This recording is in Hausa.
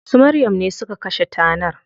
Su Maryam ne suka kashe tanar.